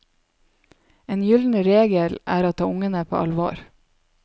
En gylden regel er å ta ungene på alvor.